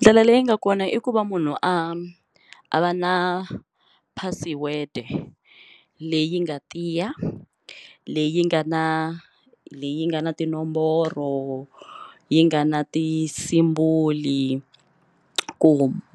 Ndlela leyi nga kona i ku va munhu a a va na password leyi nga tiya leyi nga na leyi nga na tinomboro yi nga na ti-symbol ku